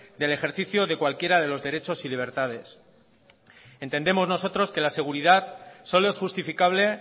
del ejercicio de cualquiera de los derechos y libertades entendemos nosotros que la seguridad solo es justificable